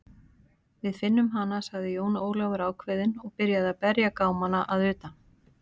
Við finnum hana, sagði Jón Ólafur ákveðinn og byrjaði að berja gámana að utan.